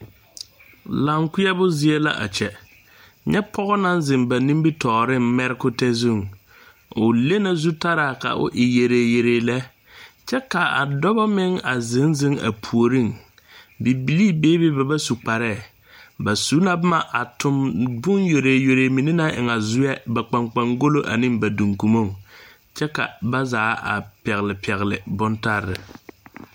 Laŋkpeɛbo zie la a kyɛ nyɛ pɔge naŋ seŋ ba nimitɔɔreŋ mɛrekotɛ zuŋ o le na zutaraa o e yereyere lɛ kyɛ ka a dɔbɔ meŋ a zeŋ zeŋ a puoriŋ bibilii be be ba su kparee ba su la boma a tuŋ boŋ yere yere mine naŋ eŋ a zoɛ kpaŋkpaŋgolo duŋkomoŋ kyɛ ka ba zaa pɛgle pɛgle bontare.